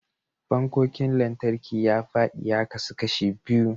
Fannonin lantarki ya fadi ya kasu kashi biyu.